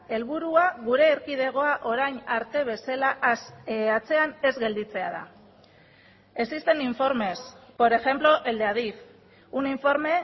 helburua gure erkidegoa orain arte bezala atzean ez gelditzea da existen informes por ejemplo el de adif un informe